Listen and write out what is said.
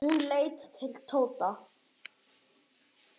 Hann leit til Tóta.